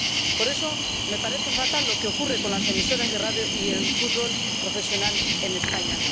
Por eso, me parece fatal lo que ocurre con las emisoras de radio y el fútbol profesional en España.